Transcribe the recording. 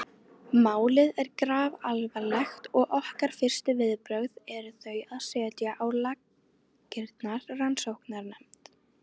Málið er grafalvarlegt og okkar fyrstu viðbrögð eru þau að setja á laggirnar rannsóknarnefnd.